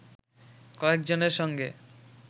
কয়েকজনের সঙ্গে